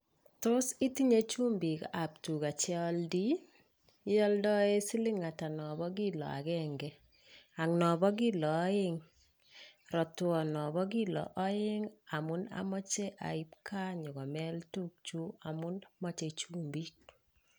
Tos itinyee chumbik ab tugaa cheioldii iodoen silin atak nobo killo agenge? Ak nombo kilo oeng? Rotwon nombo kilo oeng amun omoche ait gaa inyokomeet tukyuuk amun moche chumbik.